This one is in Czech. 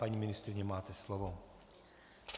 Paní ministryně, máte slovo.